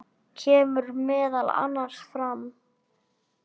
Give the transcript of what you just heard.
kemur meðal annars fram